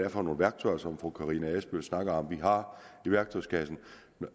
er for nogle værktøjer som fru karina adsbøl snakker om vi har i værktøjskassen